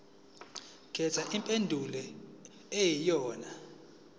khetha impendulo eyiyonayona